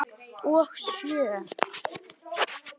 Og sjö?